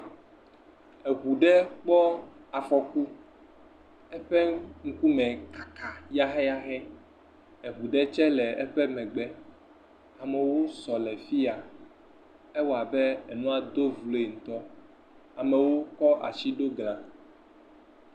Eŋu ɖe kpɔ afɔku eƒe ŋkume kaka yahɛyahɛ. Eŋu ɖe tse le eƒe megbe. Amewo sɔ le fi ya ewɔ abe emɔadogoƒe. Amewo kɔ si ɖo gla.